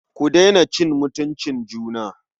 Ku daina cin mutuncin juna.